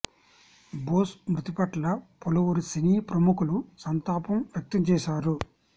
బోస్ మృతి పట్ల పలువురు సినీ ప్రముఖులు సంతాపం వ్యక్తం చేశారు